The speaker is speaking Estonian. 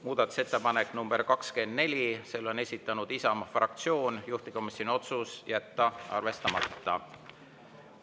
Muudatusettepanek nr 24, selle on esitanud Isamaa fraktsioon, juhtivkomisjoni otsus: jätta arvestamata.